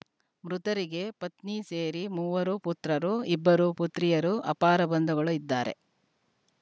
ಮೃತರಿಗೆ ಪತ್ನಿ ಸೇರಿ ಮೂವರು ಪುತ್ರರು ಇಬ್ಬರು ಪುತ್ರಿಯರು ಅಪಾರ ಬಂಧುಗಳು ಇದ್ದಾರೆ